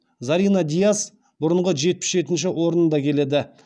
зарина дияс бұрынғы жетпіс жетінші орнында келеді